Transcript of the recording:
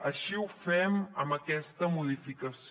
així ho fem amb aquesta modificació